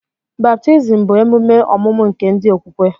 Baptizim bụ emume ọmụmụ nke ndi okwukwe